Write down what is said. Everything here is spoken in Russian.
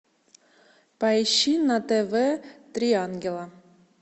поищи на тв три ангела